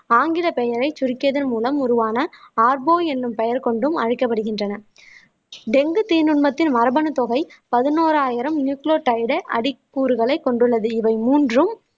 ஆங்கில பெயரை சுருக்கியதன் மூலம் உருவான என்னும் பெயர் கொண்டு அழைக்கப்படுகின்றன டெங்கு தீநுண்மத்தின் மரபணு தொகை பதினோராயிரம் நியூக்ளோ கூறுகளை கொண்டுள்ளது இவை மூன்றும்